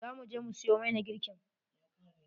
Za mu je mu siyo mai na girki.